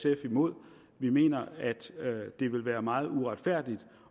er imod vi mener at det vil være meget uretfærdigt